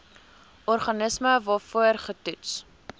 organisme waarvoor getoets